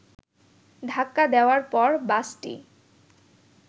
ধাক্কা দেয়ার পর বাসটি